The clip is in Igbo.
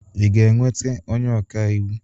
Ị ga-enweta onye ọka iwu?